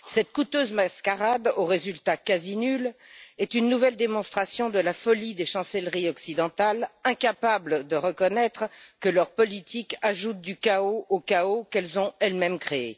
Cette coûteuse mascarade aux résultats quasi nuls est une nouvelle démonstration de la folie des chancelleries occidentales, incapables de reconnaître que leur politique ajoute du chaos au chaos qu'elles ont, elles mêmes, créé.